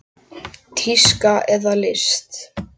Tíska eða list?